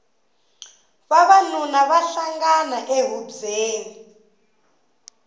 vavanuna va hlangana e hubyeni